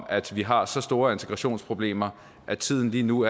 at vi har så store integrationsproblemer at tiden lige nu